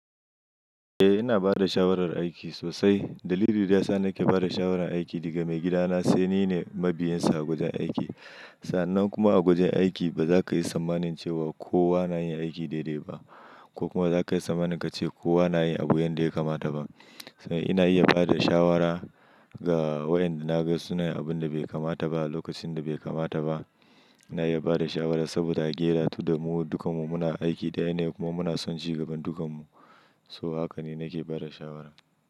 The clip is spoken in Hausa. Eh ina bada shawarar aiki sosai. Dalilin da yasa nake bada shawarar aiki daga maigidana sai nine mabiyinsa a gujin aiki. Sa'annan kuma a gujin aiki baza kayi sammanin cewa kowa nayin aiki daidai ba ko kuma zakayi sammanin kace kowa nayin abu yanda yakamata ba. Ina iya bada shawara ga wayanda naga suna yin abinda bai kamata ba a lokacin da bai kamata ba. Ina iya bada shawara saboda gelatu domin dukanmu muna aiki ɗaya ne kuma muna son cigaban dukanmu. So hakane nake bada shawara.